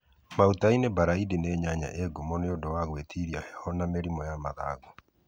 Mautaĩni buraindi nĩ nyanya ĩ ngumo nĩ ũndũ wa gũĩtiria heho na mĩrimu ya mathangũ